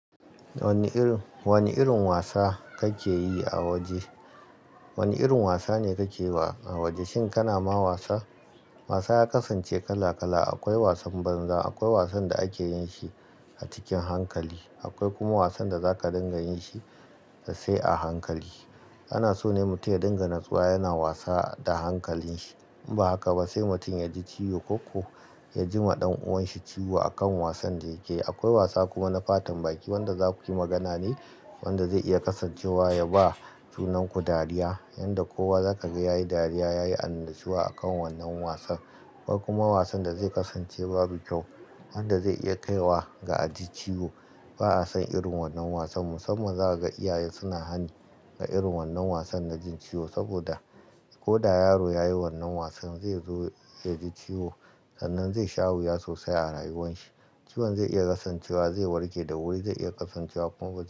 Wani irin, wani irin wasa kake yi a waje, wani irin wasa ne kake yi a waje? Shin kana ma wasa? Wasa ya kasance kala kala. Akwai wasan banza, akwai wasan da ake yin shi a cikin hankali, akwai kuma wasan da za ka dinga yin shi da sai a hankali. Ana so ne mutum ya dinga natsuwa, yana wasa da hankalin shi. In ba haka ba, sai mutum ya ji ciwo ko ya ji ma ɗan uwan shi ciwo a kan wasan da yake. Akwai wasa kuma na fatan baki wanda za ku yi magana ne wanda zai iya kasancewa yaba junan ku dariya, yanda kowa zaka ga yayi dariya, yayi annashuwa a kan wannan wasan. Akwai kuma wasan da zai kasance babu kyau wanda zai iya kai wa ga a ji ciwo. Ba'a san irin wannan wasan. Musamman za ka ga iyaye suna hani ga irin wannan wasan na jin ciwo saboda koda yaro ya yi wannan wasan zai zo ya ji ciwo, sannan zai sha wuya sosai a rayuwan shi. Ciwon zai iya kasancewa zai warke da wuri, zai iya kasancewa kuma bai.